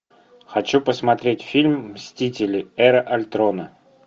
хочу посмотреть фильм мстители эра альтрона